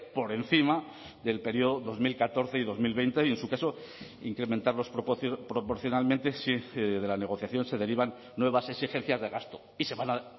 por encima del período dos mil catorce y dos mil veinte y en su caso incrementarlos proporcionalmente si de la negociación se derivan nuevas exigencias de gasto y se van a